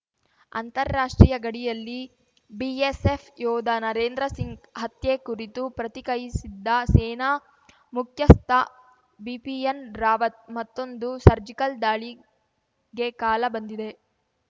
ಅಂತಾರಾಷ್ಟ್ರೀಯ ಗಡಿಯಲ್ಲಿ ಬಿಎಸ್‌ಎಫ್‌ ಯೋಧ ನರೇಂದ್ರ ಸಿಂಗ್‌ ಹತ್ಯೆ ಕುರಿತು ಪ್ರತಿಕಯಿಸಿದ್ದ ಸೇನಾ ಮುಖ್ಯಸ್ಥ ಬಿಪಿಯನ್‌ ರಾವತ್‌ ಮತ್ತೊಂದು ಸರ್ಜಿಕಲ್‌ ದಾಳಿಗೆ ಕಾಲ ಬಂದಿದೆ